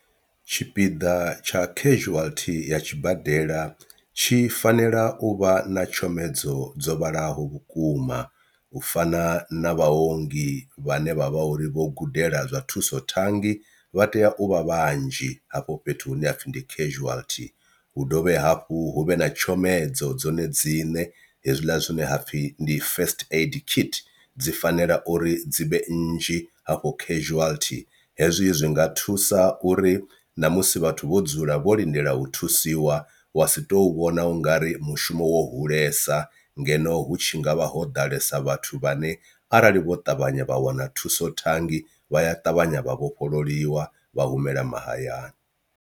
Tshipiḓa tsha casualty ya tshibadela tshi fanela u vha na tshomedzo dzo vhalaho vhukuma u fana na vhaongi vhane vhavha uri vho gudela zwa thuso thangi vha tea u vha vhanzhi hafho fhethu hune hapfi ndi casualty, hu dovhe hafhu hu vhe na tshomedzo dzone dziṋe hezwiḽa zwine hapfhi ndi first aid kit dzi fanela uri dzivhe nnzhi hafho casualty. Hezwi zwi nga thusa uri na musi vhathu vho dzula vho lindela u thusiwa wa si to vhona ungari mushumo wo hulesa ngeno hu tshi ngavha ho ḓalesa vhathu vhane arali vho ṱavhanya vha wana thuso thangi vha ya ṱavhanya vha vhofhololiwa vha humela mahayani.